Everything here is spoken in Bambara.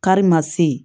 Kari ma se